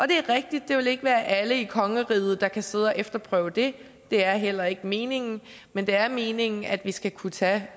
det er rigtigt at det ikke vil være alle i kongeriget der kan sidde og efterprøve det det er heller ikke meningen men det er meningen at vi skal kunne tage